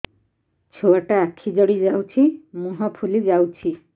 ଛୁଆଟା ଆଖି ଜଡ଼ି ଯାଉଛି ମୁହଁ ଫୁଲି ଯାଉଛି